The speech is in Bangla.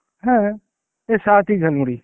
হ্যাঁ, যে সাথী ঝালমুড়ি.